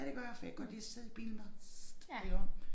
Ja det gør jeg for jeg kan godt lide at sidde i bilen bare iggå